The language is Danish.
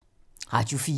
Radio 4